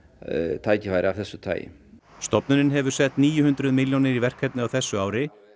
tækifæri af þessu tagi stofnunin hefur sett níu hundruð milljónir í verkefnið á þessu ári en